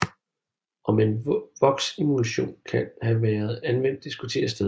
Om en voksemulsion kan havde været anvendt diskuteres stadig